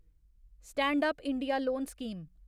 stand up India loan scheme